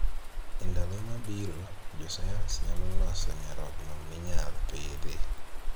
Endalo mabiro, jo sayans nyalo loso nyarogno minyal pidhi.